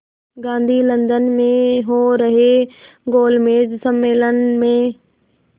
Gandhi London में हो रहे गोलमेज़ सम्मेलन में